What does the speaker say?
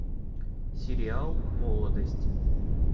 сериал молодость